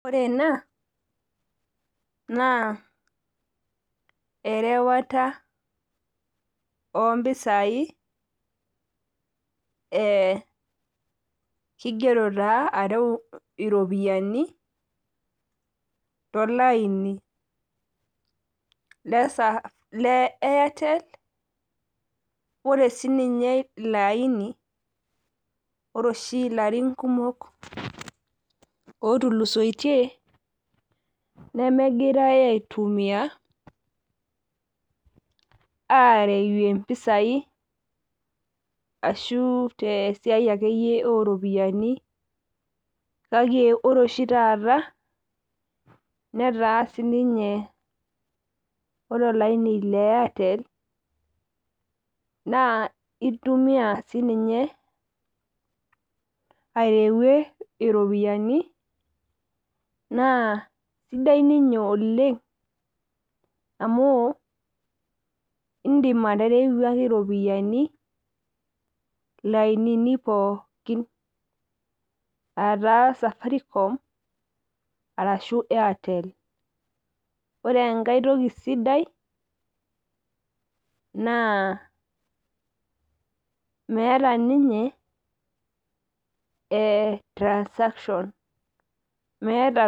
Ore ena naa erewata oompisai ee keigero taa are iropiyiani tolaini le Airtel. Ore siininye ilo aini ore oshi ilarin kumok ootulusoitie memegirai aaitumia aareyie mpisai ashuu tesia akeyie oropiyiani kake ore oshi taata netaa siininye ore olaini le airtel intumia siininye areyie iropiyiani. Ore oshi taata sidsi ninye oleng amuu indim aterewaki iropiyiani ilainini pooki. Aah taa safaricom arashu airtel. Ore enkai toki sidai naa meeta ninye eeeh transaction